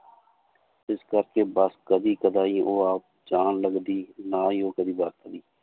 ਇਸ ਕਰਕੇ ਬਸ ਕਦੇ ਕਦਾਈ ਉਹ ਆਪ ਜਾਣ ਲੱਗਦੀ ਨਾਂ ਹੀ ਉਹ ਕਦੇ ਵਰਤਦੀ।